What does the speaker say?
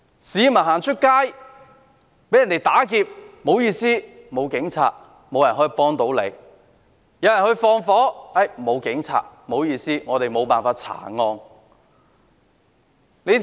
市民出街被打劫，不好意思，沒有警察，沒有人可以幫助他們；有人縱火，沒有警察，不好意思，沒有辦法查案。